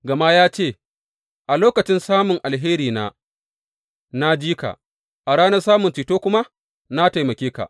Gama ya ce, A lokacin samun alherina, na ji ka, a ranar samun ceto kuma, na taimake ka.